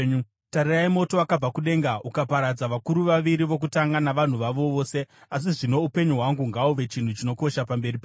Tarirai moto wakabva kudenga ukaparadza vakuru vaviri vokutanga navanhu vavo vose. Asi zvino upenyu hwangu ngahuve chinhu chinokosha pamberi penyu.”